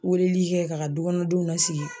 Weleli kɛ ka k'a dukɔnɔdenw lasigi